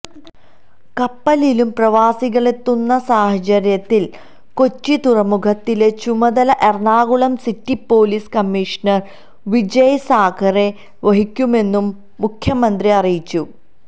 കപ്പലിലും പ്രവാസികളെത്തുന്ന സാഹചര്യത്തിൽ കൊച്ചി തുറമുഖത്തിലെ ചുമതല Ernakulam city police commissioner Vijay Sakhare വഹിക്കുമെന്നും മുഖ്യമന്ത്രി അറിയിച്ചു